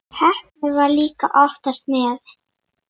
Heppnin var líka oftast með.